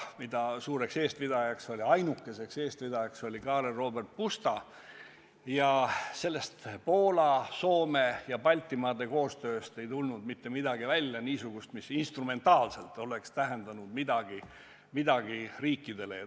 Selle suur eestvedaja ja ainukene eestvedaja oli Karl Robert Pusta, aga sellest Poola, Soome ja Baltimaade koostööst ei tulnud välja mitte midagi niisugust, mis instrumentaalselt oleks riikidele midagi tähendanud.